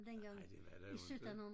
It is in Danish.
Nej det var der jo inte